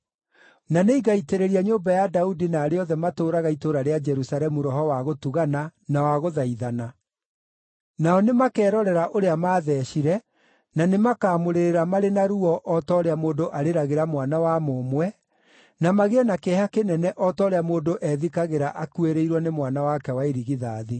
“Na nĩngaitĩrĩria nyũmba ya Daudi na arĩa othe matũũraga itũũra rĩa Jerusalemu roho wa gũtugana na wagũthaithana. Nao nĩmakerorera ũrĩa maathecire, na nĩmakamũrĩrĩra marĩ na ruo o ta ũrĩa mũndũ arĩragĩra mwana wa mũmwe, na magĩe na kĩeha kĩnene o ta ũrĩa mũndũ ethikagĩra akuĩrĩirwo nĩ mwana wake wa irigithathi.